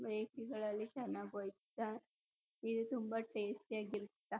ಬೇಕ್ರಿಗಳಲ್ಲಿ ಚನಾಗ್ ಒಯ್ತಾ ಇದು ತುಂಬಾ ಟೇಸ್ಟಿ ಯಾಗಿರತ್ತ.